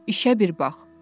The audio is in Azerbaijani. İşə bir bax.